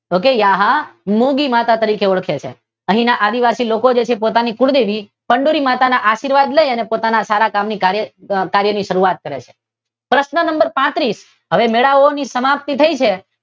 Okay યહાં મૂડી માતા તરીકે ઓળખે છે અહીના આદીવાસી જે લોકો છે તે પોતાની કુળદેવી ચંડૂરી માતાના આશીર્વાદ લઈને પોતાના સારા કાર્યોની શરૂઆત કરે છે. હવે પ્રશ્ન નંબર પાત્રીસ હવે મેળાઓની સમાપતી થઈ છે